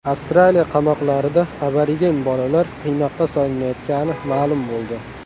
Avstraliya qamoqlarida aborigen bolalar qiynoqqa solinayotgani ma’lum bo‘ldi.